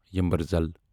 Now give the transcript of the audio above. یمبرزَل